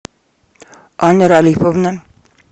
аня ралифовна